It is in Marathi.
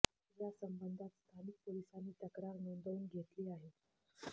या संबंधात स्थानिक पोलिसांनी तक्रार नोंदवून घेतली आहे